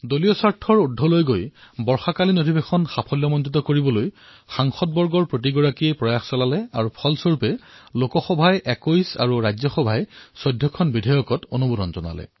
দলহিতৰ ঊৰ্ধলৈ গৈ সকলো সাংসদে বাৰিষাৰ সত্ৰক অধিকতম উপযোগী কৰাৰ প্ৰয়াস কৰিলে আৰু ইয়াৰ পৰিণামস্বৰূপে লোকসভাত ২১টা বিধেয়ক আৰু ৰাজ্যসভাত ১৪টা বিধেয়ক গৃহীত হল